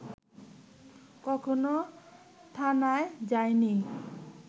কখনো থানায় যায়নি